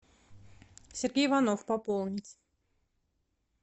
сергей иванов пополнить